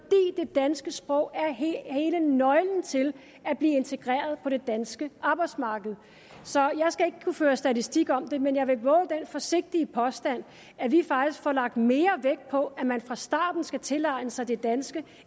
danske sprog er hele nøglen til at blive integreret på det danske arbejdsmarked så jeg skal ikke kunne føre statistik om det men jeg vil vove den forsigtige påstand at vi faktisk får lagt mere vægt på at man fra starten skal tilegne sig det danske